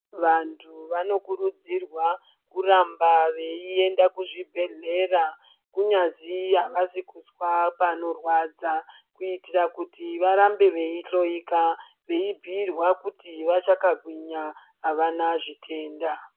Vandhu vanokurudziwa kuramba veienda kuzvibhedhlera kunyazi avasi kuzwa panorwadza, kuitira kuti varambe veihloyeka veibhiirwa kuti vachakagwinya avana zvitenda.